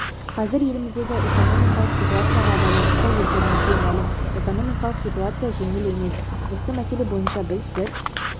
қазір еліміздегі экономикалық ситуацияға байланысты өздеріңізге мәлім экономикалық ситуация жеңіл емес осы мәселе бойынша біз бір